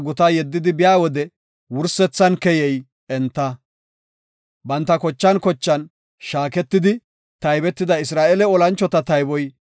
Banta kochan kochan shaaketidi taybetida Isra7eele olanchota tayboy 603,550.